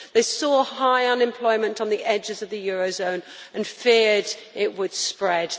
they saw high unemployment on the edges of the euro area and feared it would spread